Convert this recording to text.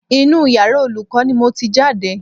Inú yàrá Olùkọ́ ni mo ti jáde